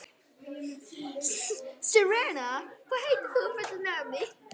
Serena, hvað heitir þú fullu nafni?